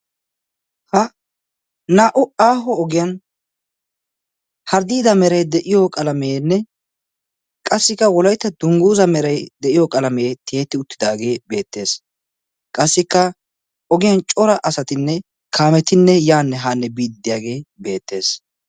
Naa"u aaho ogiyan harddida meray de'iyo qalameenne qassikka wolaytta dungguza meray de'iyo qalamee tiyetti uttidaage beettees. Qassikka ogiyan cora asatinne kaametinne yaanne haanne biiddi diyaagee beettees.